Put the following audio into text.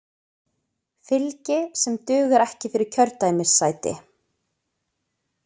Fylgi sem dugar ekki fyrir kjördæmissæti